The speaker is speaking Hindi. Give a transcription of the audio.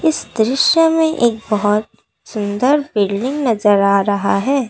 इस दृश्य में एक बहुत सुंदर बिल्डिंग नजर आ रहा है।